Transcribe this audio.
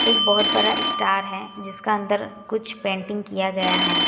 एक बहोत बड़ा स्टार है जिसका अंदर कुछ पेंटिंग किया गया है।